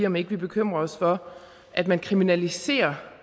om ikke vi bekymrer os for at man kriminaliserer